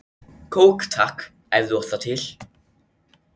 Kók takk, ef þú átt það til!